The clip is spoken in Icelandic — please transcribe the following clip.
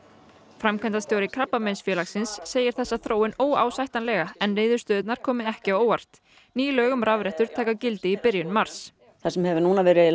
framkvæmdastjóri Krabbameinsfélagsins segir þessa þróun óásættanlega en niðurstöðurnar komi ekki á óvart ný lög um rafrettur taka gildi í byrjun mars það sem hefur núna verið